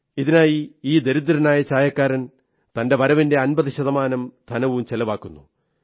ഇതിനായി ഈ ദരിദ്രനായ ചായക്കാരൻ തന്റെ വരവിന്റെ അമ്പതു ശതമാനം ധനം ചിലവാക്കുന്നു